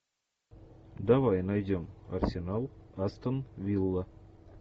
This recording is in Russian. давай найдем арсенал астон вилла